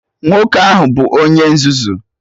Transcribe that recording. Nwoke ahụ bụ Onye nzuzu!